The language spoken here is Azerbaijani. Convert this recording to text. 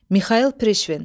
Mixayıl Prişvin.